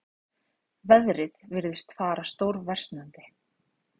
Veðrið virtist fara stórversnandi.